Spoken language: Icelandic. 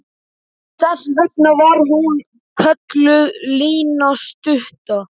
Þess vegna var hún kölluð Lína stutta.